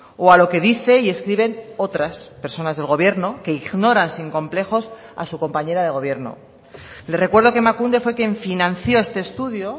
o a lo que dice y escriben otras personas del gobierno que ignoran sin complejos a su compañera de gobierno le recuerdo que emakunde fue quien financió este estudio